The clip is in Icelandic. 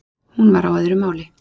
Hún var á öðru máli.